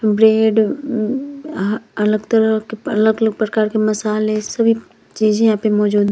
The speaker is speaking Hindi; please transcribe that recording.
ब्रेड हम्म अहा अलग तरह के अलग-अलग प्रकार के मसाले सभी चीजे यहाँ पे मौजूद --